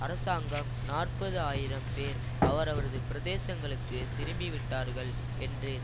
அரசாங்கம் நாற்பது ஆயிரம் பேர் அவரவரது பிரதேசங்களுக்கு திரும்பிவிட்டார்கள் என்று